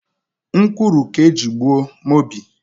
Nkwuru ka eji gbuo Mobi.